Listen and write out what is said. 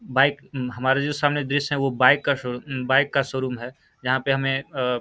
bike हमारे जो सामने दृश्य है वो बाइक का शो बाइक का शोरूम है जहाँ पे हमें अ --